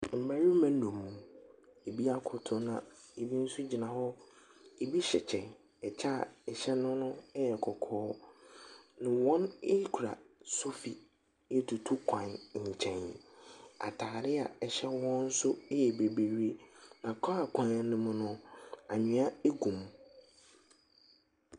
Mmarima nnum. Ebi akoto na ebi nso gyina hɔ. Ebi hyɛ kyɛ, ɛkyɛ a ɛhyɛ no no yɛ kɔkɔɔ. Wɔkura sofi retutu kwan nkyɛn. Atareɛ a ɛhyɛ wɔn nso yɛ bibiri, na kaa kwan no mu no, anwea gu.